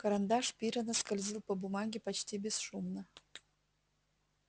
карандаш пиренна скользил по бумаге почти бесшумно